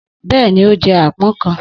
Bẹ́ẹ̀ni, ó jẹ́ àpọ́n kan